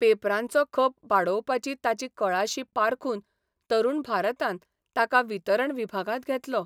पेपरांचो खप बाडोवपाची ताची कळाशी पारखून तरुण भारतान ताका वितरण विभागांत घेतलो.